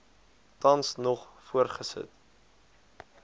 tans nog voortgesit